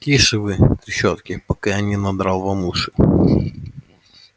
тише вы трещотки пока я не надрал вам уши